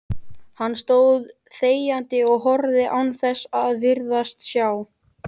Hann stóð þegjandi og horfði án þess að virðast sjá.